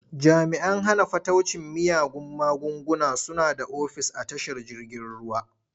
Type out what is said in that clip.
Jami'an hana fataucin miyagun magunguna suna da ofis a tashar jirgin ruwa.